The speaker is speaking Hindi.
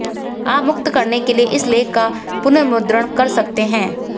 आप मुक्त करने के लिए इस लेख का पुनर्मुद्रण कर सकते हैं